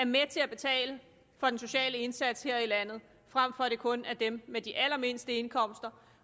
med til at betale for den sociale indsats her i landet frem for at det kun er dem med de allermindste indkomster